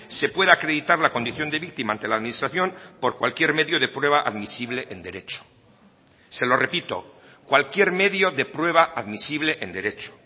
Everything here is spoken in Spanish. se pueda acreditar la condición de víctima ante la administración por cualquier medio de prueba admisible en derecho se lo repito cualquier medio de prueba admisible en derecho